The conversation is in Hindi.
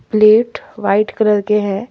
प्लेट व्हाइट कलर के हैं।